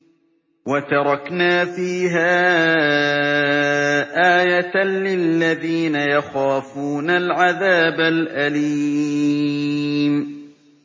وَتَرَكْنَا فِيهَا آيَةً لِّلَّذِينَ يَخَافُونَ الْعَذَابَ الْأَلِيمَ